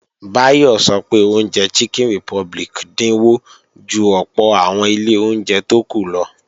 Báyọ̀ sọ pé oúnjẹ Chicken Republic dínwó ju ọ̀pọ̀ àwọn ilé oúnjẹ tó kù lọ